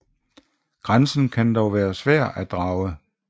Grænsen kan dog være svær at drage